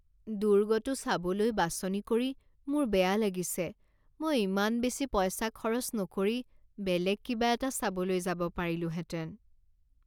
দুৰ্গটো চাবলৈ বাছনি কৰি মোৰ বেয়া লাগিছে মই ইমান বেছি পইচা খৰচ নকৰি বেলেগ কিবা এটা চাবলৈ যাব পাৰিলোঁহেঁতেন।